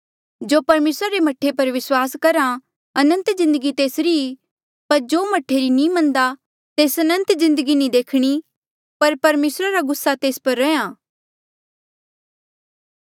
जो परमेसरा रे मह्ठे पर विस्वास करहा अनंत जिन्दगी तेसरी ई पर जो मह्ठे री नी मन्नदा तेस अनंत जिन्दगी नी देखणी पर परमेसरा रा गुस्सा तेस पर रैंहयां